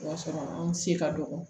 O y'a sɔrɔ an se ka dɔgɔ